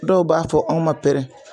Dɔw b'a fɔ aw ma pɛrɛ